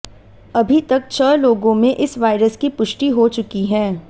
अभी तक छह लोगों में इस वायरस की पुष्टि हो चुकी है